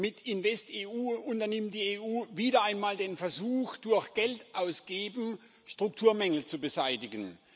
Mit Invest EU unternimmt die EU wieder einmal den Versuch, durch Geldausgeben Strukturmängel zu beseitigen.